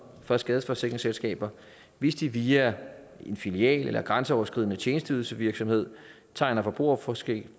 for skadeforsikringsselskaber hvis de via en filial eller grænseoverskridende tjenesteydelsevirksomhed tegner forbrugerforsikringer